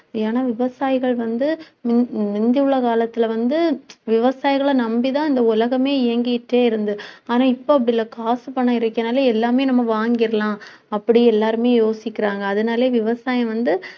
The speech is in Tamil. ஏன்னா விவசாயிகள் வந்து, முந்தி உள்ள காலத்தில வந்து, விவசாயிகளை நம்பிதான் இந்த உலகமே இயங்கிட்டே இருந்தது. ஆனா இப்ப அப்படி இல்லை காசு பணம் இருக்கறதுனால எல்லாமே நம்ம வாங்கிடலாம். அப்படி எல்லாருமே யோசிக்கிறாங்க அதனால விவசாயம் வந்து